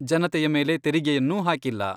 ಜನತೆಯ ಮೇಲೆ ತೆರಿಗೆಯನ್ನೂ ಹಾಕಿಲ್ಲ.